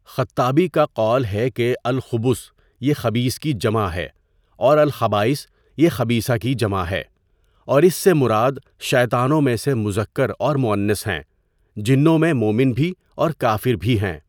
خَطّابی کا قول ہے کہ اَلْخُبُث یہ خَبِیْث کی جمع ہے اور اَلْخَبَائِث یہ خَبِیْثَہ کی جمع ہے اور اس سے مراد شیطانوں میں سے مذکر اور مؤنث ہیں۔ جِنّوں میں مومن بھی اور کافر بھی ہیں۔